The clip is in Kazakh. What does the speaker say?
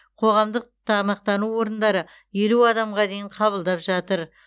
қоғамдық тамақтану орындары елу адамға дейін қабылдап жатыр